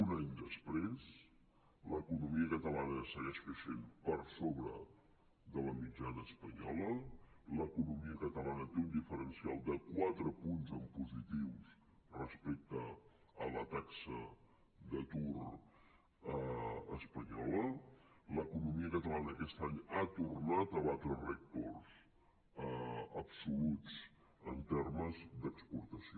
un any després l’economia catalana segueix creixent per sobre de la mitjana espanyola l’economia catalana té un diferencial de quatre punts en positiu respecte a la taxa d’atur espanyola l’economia catalana aquest any ha tornat a batre rècords absoluts en termes d’exportació